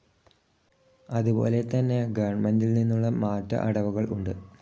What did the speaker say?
അതുപോലെതന്നെ ഗവൺമെന്റിൽനിന്നുള്ള മാറ്റ അടവുകൾ ഉണ്ട്.